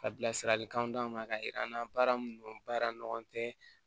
Ka bilasiralikanw d'aw ma k'a yira an na baara min don baara nɔgɔlen tɛ